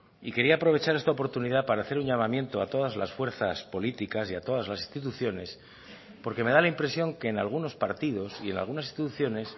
y quería aprovechar esta oportunidad para hacer un llamamiento a todas las fuerzas políticas y a todas las instituciones porque me da la impresión que en algunos partidos y en algunas instituciones